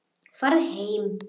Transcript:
Farið heim!